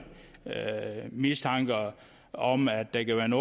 mistanke om om at der kan